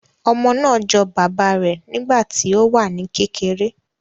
Ọmọ naa jọ baba rẹ nigbati o wa ni kekere